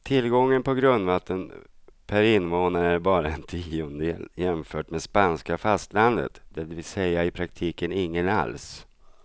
Tillgången på grundvatten per invånare är bara en tiondel jämfört med spanska fastlandet, det vill säga i praktiken ingen alls.